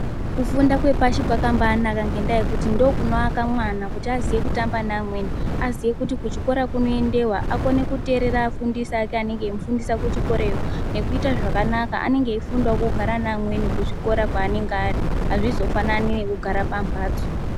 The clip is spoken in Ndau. Kufunda kwepashi kwakabaanaka ngekuti ndokunoaka mwana, kuti aziye kutamba neamweni, aziye kuti kuchikora kunoendewa, akone kuterera afundisi ake anomufundisa kuchikorayo nekuita zvakanaka. Anenge eifunda kugara namweni kuchikorayo azvizofanani nekugara kumbatso.